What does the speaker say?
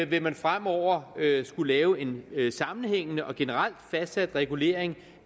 vil man fremover skulle lave en sammenhængende og generelt fastsat regulering